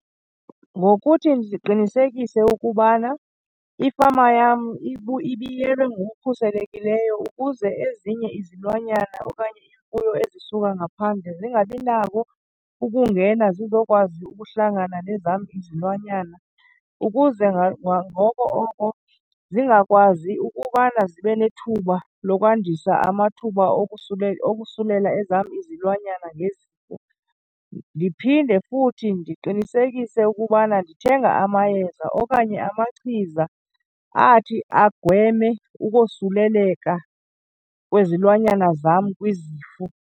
Ngokuthi ndiqinisekise ukubana ifama yam ibiyelwe ngokukhuselekileyo ukuze ezinye izilwanyana okanye iimfuyo ezisuka ngaphandle zingabi nako ukungena zizokwazi ukuhlangana nezam izilwanyana, ukuze ngoko oko zingakwazi ukubana zibe nethuba lokwandisa amathuba okusulela ezam izilwanyana ngezifo. Ndiphinde futhi ndiqinisekise ukubana ndithenga amayeza okanye amachiza athi agweme ukosuleleka kwezilwanyana zam kwizifo.